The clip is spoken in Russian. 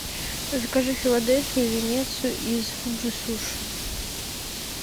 закажи филадельфию венецию из фуджи суши